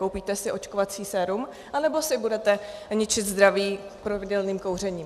Koupíte si očkovací sérum, anebo si budete ničit zdraví pravidelným kouřením.